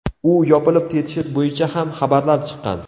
U yopilib ketishi bo‘yicha ham xabarlar chiqqan.